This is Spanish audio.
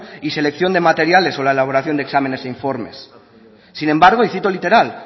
y selección de materiales sobre la elaboración de exámenes e informes sin embargo y cito literal